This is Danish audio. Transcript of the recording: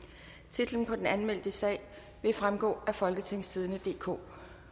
titlen på den anmeldte sag vil fremgå af folketingstidende DK